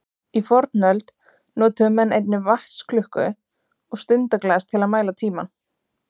Í fornöld notuðu menn einnig vatnsklukku og stundaglas til að mæla tímann.